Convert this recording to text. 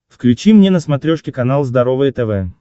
включи мне на смотрешке канал здоровое тв